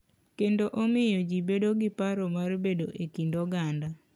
Kendo omiyo ji bedo gi paro mar bedo e kind oganda.